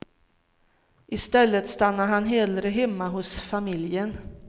I stället stannade han hellre hemma hos familjen.